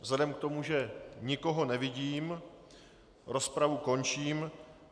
Vzhledem k tomu, že nikoho nevidím, rozpravu končím.